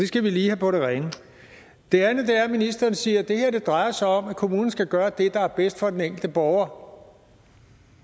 skal vi lige have på det rene det andet er at ministeren siger at det her drejer sig om at kommunen skal gøre det der er bedst for den enkelte borger